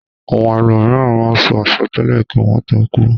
Àwon elòmìràn máá n so asòtélè kí wón tó kúú.